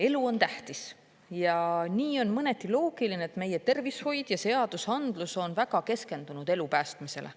Elu on tähtis ja nii on mõneti loogiline, et meie tervishoid ja seadusandlus on väga keskendunud elu päästmisele.